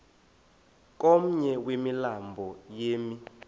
komnye wemilambo emi